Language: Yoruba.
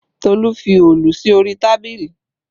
Tolu fi Òòlù sí orí tábìlì